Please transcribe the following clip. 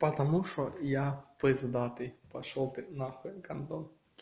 потому что я пиздатый пошёл ты на хуй гондон